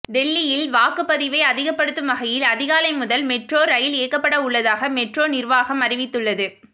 டெல்லியில் வாக்குப்பதிவை அதிகப்படுத்தும் வகையில் அதிகாலை முதல் மெட்ரோ ரயில் இயக்கப்படவுள்ளதாக மெட்ரோ நிர்வாகம் அறிவித்துள்ளது